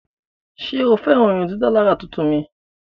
Ṣe o fẹran irundidalara tuntun mi?